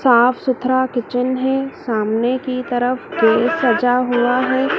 साफ सुथरा किचन है सामने की तरफ ट्रे सजा हुआ है।